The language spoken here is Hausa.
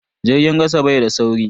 Jirgin kasa bai da sauri.